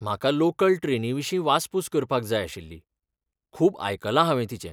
म्हाका लोकल ट्रेनीविशीं वासपूस करपाक जाय आशिल्ली, खूब आयकलां हांवें तिचें.